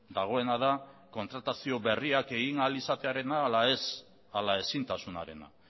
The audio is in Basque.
dagoena da kontratazio berriak egin ahal izatearena ala ez ala ezintasunarena